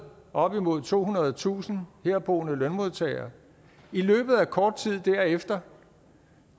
op imod tohundredetusind herboende lønmodtagere i løbet af kort tid derefter